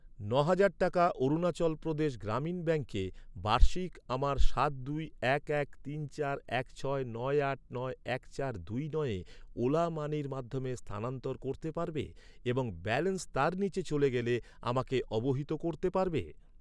ন'হাজার টাকা অরুণাচল প্রদেশ গ্রামীণ ব্যাঙ্কে বার্ষিক আমার সাত দুই এক এক তিন চার এক ছয় নয় আট নয় এক চার দুই নয়ে ওলা মানির মাধ্যমে স্থানান্তর করতে পারবে এবং ব্যালেন্স তার নিচে চলে গেলে আমাকে অবহিত করতে পারবে?